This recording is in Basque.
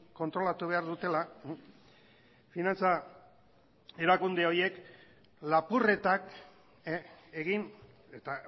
kontrolatu behar dutela finantza erakunde horiek lapurretak egin eta